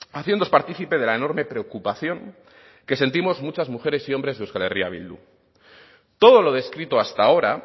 haciéndoos partícipe de la enorme preocupación que sentimos muchas mujeres y hombres de euskal herria bildu todo lo descrito hasta ahora